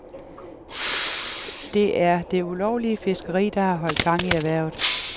Det er det ulovlige fiskeri, der har holdt gang i erhvervet.